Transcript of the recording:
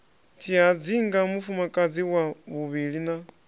tshihadzinga mufumakadzi wa vhuvhili na